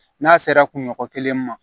N'a sera kunɲɔgɔn kelen ma